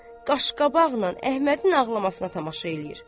Qaşqabaqla Əhmədin ağlamasına tamaşa eləyir.